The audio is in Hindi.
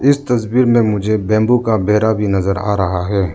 इस तस्वीर में मुझे बंबू का बेरा भी नजर आ रहा है।